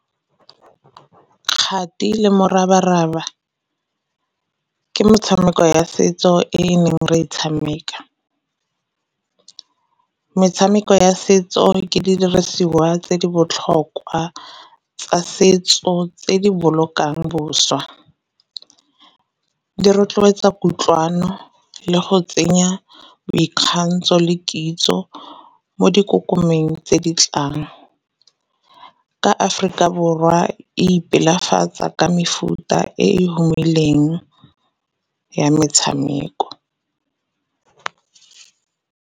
Kgati le morabaraba ke metshameko ya setso e e neng re e tshameka. Metshameko ya setso ke didirisiwa tse di botlhokwa tsa setso tse di bolokang boswa, di rotloetsa kutlwano le go tsenya boikgantsho le kitso mo dikokomeng tse ditlang. Ka Aforika Borwa e ipelafatsa ka mefuta e e humileng ya metshameko.